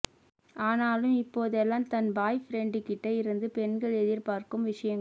ஆனாலும் இப்போதெல்லாம் தன் பாய் ஃபிரண்டுகிட்ட இருந்து பெண்கள் எதிர்பார்க்கும் விஷயங்கள்